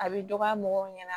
A bi dɔgɔya mɔgɔw ɲɛna